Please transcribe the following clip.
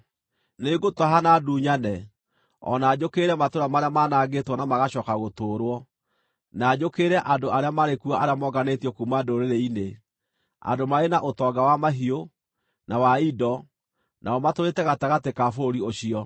Nĩngũtaha, na ndunyane, o na njũkĩrĩre matũũra marĩa maanangĩtwo na magacooka gũtũũrwo, na njũkĩrĩre andũ arĩa marĩ kuo arĩa monganĩtio kuuma ndũrĩrĩ-inĩ, andũ marĩ na ũtonga wa mahiũ, na wa indo, nao matũũrĩte gatagatĩ ka bũrũri ũcio.”